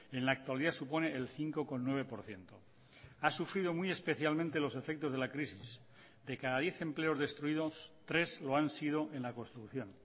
en la actualidad supone el cinco coma nueve por ciento ha sufrido muy especialmente los efectos de la crisis de cada diez empleos destruidos tres lo han sido en la construcción